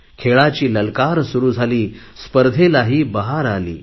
खेळाची ललकार सुरु झाली स्पर्धेलाही बहार आली